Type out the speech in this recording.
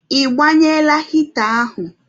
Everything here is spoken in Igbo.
Ịgbanyela hịta ahụ?